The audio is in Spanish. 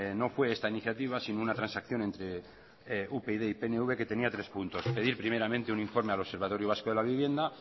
no fue esta iniciativa sino una transacción entre upyd y pnv que tenía tres puntos pedir primeramente un informe al observatorio vasco de la vivienda